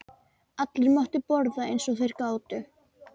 Allir máttu borða eins og þeir gátu.